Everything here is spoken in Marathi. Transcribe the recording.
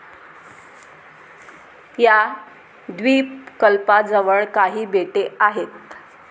या द्विपकल्पाजवळ काही बेटे आहेत.